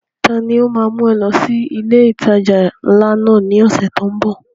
Ta ni ó ma mú ẹ lọ sí ilé ìtajà ńlá náà ní ọ̀sẹ̀ tó ń bọ̀?